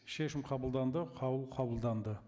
шешім қабылданды қаулы қабылданды